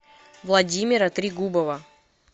владимира трегубова